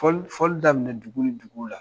Fɔli daminɛ dugu ni duguw la.